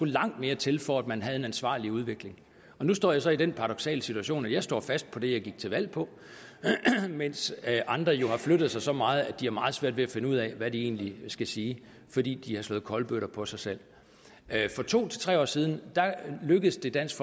langt mere til for at man havde en ansvarlig udvikling nu står jeg så i den paradoksale situation at jeg står fast på det jeg gik til valg på mens andre jo har flyttet sig så meget at de har meget svært ved at finde ud af hvad de egentlig skal sige fordi de har slået kolbøtter på sig selv for to tre år siden lykkedes det dansk